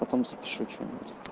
потом запишу что-нибудь